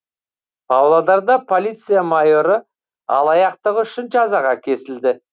павлодарда полиция майоры алаяқтығы үшін жазаға кесілді